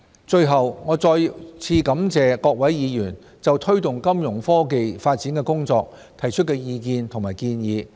最後，我要再次感謝各位議員就推動金融科技發展的工作提出的意見和建議。